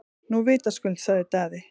Nú vitaskuld, sagði Daði.